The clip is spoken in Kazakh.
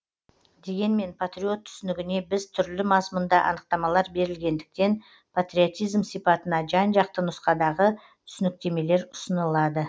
дегенмен патриот түсінігіне біз түрлі мазмұнда анықтамалар берілгендіктен патриотизм сипатына жан жақты нұсқадағы түсініктемелер ұсынылады